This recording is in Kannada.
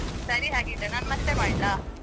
ಸರಿ ಹಾಗಿದ್ರೆ ನಾನು ಮತ್ತೆ ಮಾಡ್ಲಾ?